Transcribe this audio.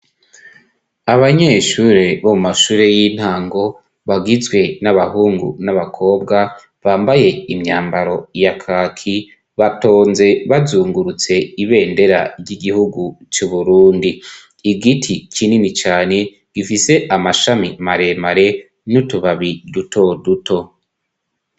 Abanyeshure bo mu mashure y'intango bagizwe n'abahungu n'abakobwa bambaye imyambaro ya kaki batonze bazungurutse ibendera ry'igihugu c'uburundi igiti kinini cane gifise amashami maremare n'utubabi ruo duto.